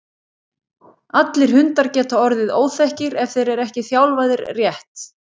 allir hundar geta orðið óþekkir ef þeir eru ekki þjálfaðir rétt